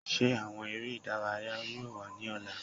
Ṣe awọn ere idaraya yoo wa ni ọla?